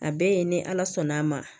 A bɛɛ ye ni ala sɔnn'a ma